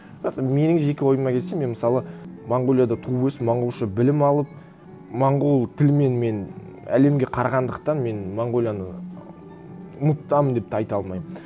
бірақ та менің жеке ойыма келсе мен мысалы монғолияда туып өсіп монғолша білім алып монғол тілімен мен әлемге қарағандықтан мен монғолияны ұмытамын деп те айта алмаймын